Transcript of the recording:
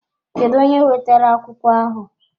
Kedụ onye wetara akwụkwọ ahụ?